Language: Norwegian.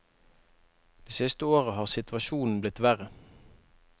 Det siste året har situasjonen blitt verre.